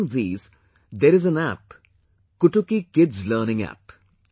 Among these there is an App 'Kutuki Kids Learning app